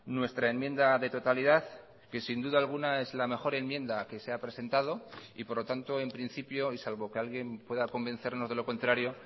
nuestra enmienda de totalidad que sin duda alguna es la mejor enmienda que se ha presentado y por lo tanto en principio y salvo que alguien pueda convencernos de lo contrario